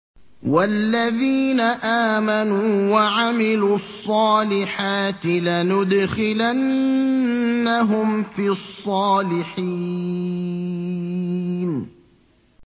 وَالَّذِينَ آمَنُوا وَعَمِلُوا الصَّالِحَاتِ لَنُدْخِلَنَّهُمْ فِي الصَّالِحِينَ